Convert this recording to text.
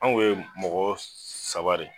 Anw ye mɔgɔ saba de